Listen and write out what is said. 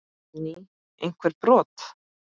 Guðný: Einhver brot?